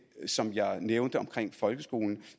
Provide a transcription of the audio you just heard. som jeg nævnte om folkeskolen